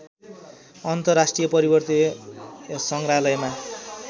अन्तर्राष्ट्रिय पर्वतीय सङ्ग्रहालयमा